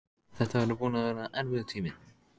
Þetta væri búinn að vera erfiður tími.